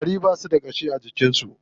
Ƙwari ba su da ƙashi a jikin su.